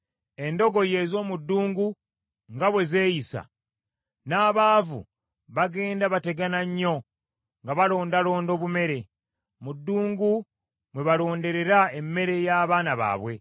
Endogoyi ez’omu ddungu nga bwe zeeyisa, n’abaavu bagenda bategana nnyo nga balondalonda obumere; mu ddungu mwe balonderera emmere y’abaana baabwe.